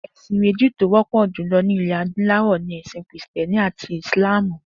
È̩sìn mé̩jì tí ó wó̩pò̩ jùlo̩ ní ilè̩ adúló̩wò̩ ni È̩sìn Krìsté̩ni àti Ìsláàmù